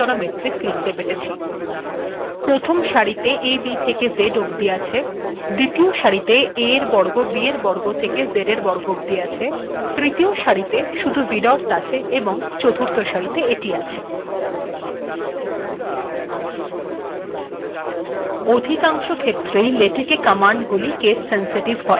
এখােন চারিট সাির আেছ প্রথম সািরিটেত ab েথেক z পর্যন্ত আেছ িদতীয় সািরেত aএর বর্গ bএর বর্গ েথেক zএর বর্গ পর্যন্ত আেছ তৃতীয় সািরিটেত শুধুমাত্র \vdots আেছ েশষ সািরিটেত এিট আেছ